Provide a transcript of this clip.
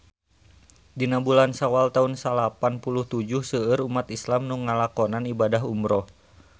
Dina bulan Sawal taun salapan puluh tujuh seueur umat islam nu ngalakonan ibadah umrah